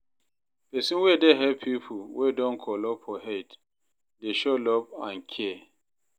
Pesin wey dey help pipo wey don kolo for head dey show love and care.